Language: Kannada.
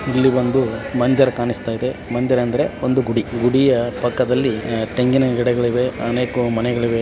ಇಲ್ಲಿ ಒಂದು ಮಂದರ್ ಕಾಣಿಸ್ತಾಯಿದೆ ಮಂದರ್ ಅಂದರೆ ಒಂದು ಗುಡಿ ಗುಡಿಯ ಪಕ್ಕದಲ್ಲಿ ತೆಂಗಿನ ಗಿಡಗಳಿವೆ ಅನೇಕ ಮನೆಗಳಿವೆ.